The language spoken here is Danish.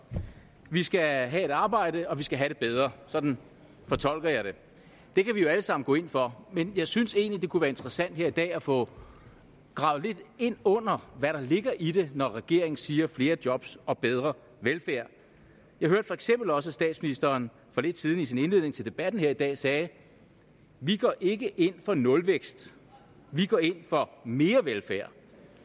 vi skal have et arbejde og vi skal have det bedre sådan fortolker jeg det det kan vi jo alle sammen gå ind for men jeg synes egentlig det kunne være interessant her i dag at få gravet lidt ind under hvad der ligger i det når regeringen siger flere jobs og bedre velfærd jeg hørte for eksempel også at statsministeren for lidt siden i sin indledning til debatten her i dag sagde vi går ikke ind for nulvækst vi går ind for mere velfærd